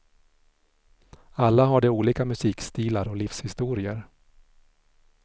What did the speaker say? Alla har de olika musikstilar och livshistorier.